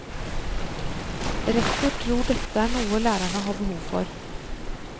Rektor tror dette er noe lærerne har behov for.